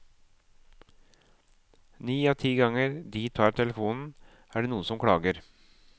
Ni av ti ganger de tar telefonen, er det noen som klager.